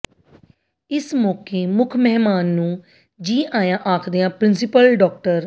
ਇਸ ਮੌਕੇ ਮੁੱਖ ਮਹਿਮਾਨ ਨੂੰ ਜੀ ਆਇਆਂ ਆਖਦਿਆਂ ਪ੍ਰਿੰਸੀਪਲ ਡਾ